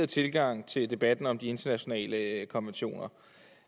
tilgang til debatten om de internationale konventioner